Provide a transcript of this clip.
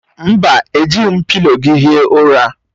Mba, ejighi m pịlo gị hie ụra.